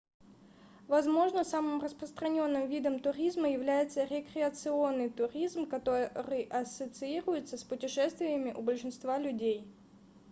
возможно самым распространенным видом туризма является рекреационный туризм который ассоциируется с путешествиями у большинства людей